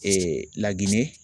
Lagine